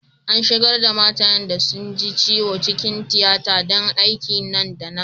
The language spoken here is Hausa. An sigar' da matayen da sun ji ciwo cikin tiyata dan aiki nan da nan.